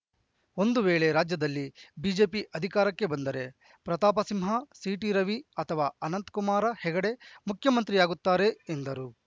ಒಂದು ವೇಳೆ ರಾಜ್ಯದಲ್ಲಿ ಬಿಜೆಪಿ ಅಧಿಕಾರಕ್ಕೆ ಬಂದರೆ ಪ್ರತಾಪಸಿಂಹ ಸಿಟಿ ರವಿ ಅಥವಾ ಅನಂತಕುಮಾರ ಹೆಗಡೆ ಮುಖ್ಯಮಂತ್ರಿಯಾಗುತ್ತಾರೆ ಎಂದರು